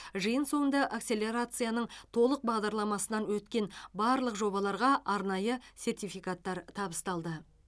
жиын соңында акселерацияның толық бағдарламасынан өткен барлық жобаларға арнайы сертификаттар табысталды